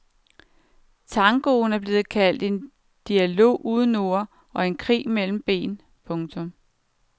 Tangoen er blevet kaldt en dialog uden ord og en krig mellem ben. punktum